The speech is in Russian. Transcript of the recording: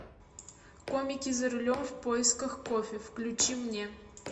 комики за рулем в поисках кофе включи мне